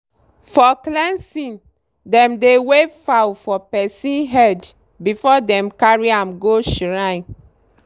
for cleansing dem dey wave fowl for person head before dem carry am go shrine.